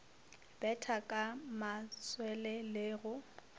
betha ka matswele le go